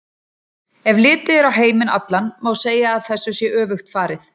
Ef litið er á heiminn allan má segja að þessu sé öfugt farið.